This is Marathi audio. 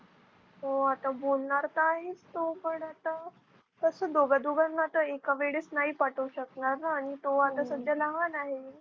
हो आता बोलणार तर आहेच तो पण आता. कसं दोघां, दोघांना आता एका वेळेस नाही पाठवू शकणार आणि तो आता सध्या लहान आहे.